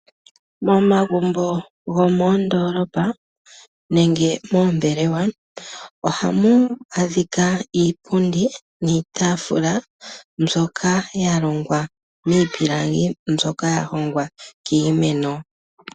Momagumbo gomondoolopa nenge moombelewa ohamu adhika iipundi niitaafula mbyoka yalongwa miipilangi, mbyoka ya hongwa kiimeno.